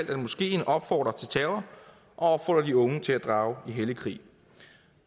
at moskeen opfordrer til terror og opfordrer de unge til at drage i hellig krig